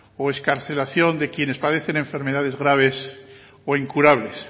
o excarcelación de quienes padecen enfermedades graves o incurables